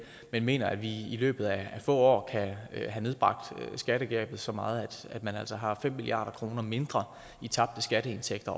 jeg mener at vi i løbet af få år kan have nedbragt skattegabet så meget at man altså årligt har fem milliard kroner mindre i tabte skatteindtægter